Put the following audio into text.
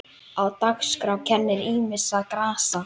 Á dagskrá kennir ýmissa grasa.